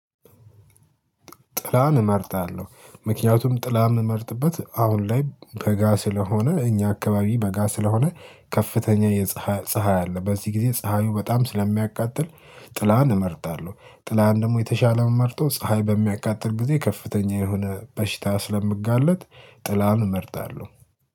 ጥላን እመርጣለሁ ምክንያቱም ጥላ እምመርጥበት አሁን ላይ በጋ ስለሆነ እኛ አካባቢ በጋ ስለሆነ ከፍተኛ የፀሀይ ፀሀይ አለ በዚህ ጊዜ ፀሀዩ በጣም ስለሚያቃጥል ጥላን እመርጣለሁ። ጥላን ደግሞ የተሻለ ምመርጠው ፀሀይ በሚያቃጥል ጊዜ ከፍተኛ የሆነ በሽታ ስለምጋለጥ ጥላን እመርጣለሁ